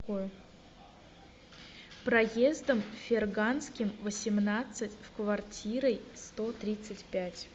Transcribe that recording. проездом ферганским восемнадцать в квартирой сто тридцать пять